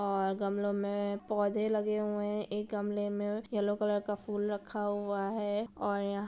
और गमलो में पौधे लगे हुए हैं। एक गमलें में येलो कलर का फूल रखा हुआ है और या --